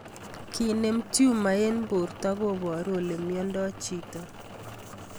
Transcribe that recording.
Kenem tumor eng' porto koparu ole miondoi chito